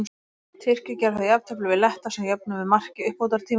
Tyrkir gerðu þá jafntefli við Letta sem jöfnuðu með marki í uppbótartíma.